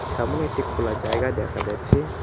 সামোনে একটি খোলা জায়গা দেখা যাচ্ছে।